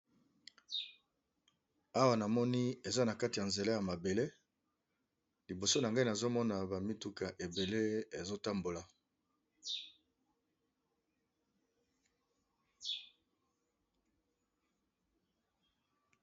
Awa namoni , eza na kati ya nzela ya mabele liboso nangai nazomona bamituka ebele ezotambola.